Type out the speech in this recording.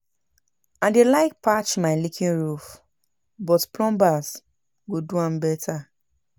I dey like patch my leaking roof, but plumber go do am better.